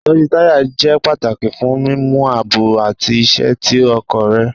Itọju taya jẹ pataki fun mimu aabo ati iṣẹ ti ọkọ rẹ